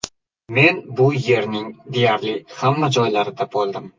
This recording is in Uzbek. Men bu elning deyarli hamma joylarida bo‘ldim.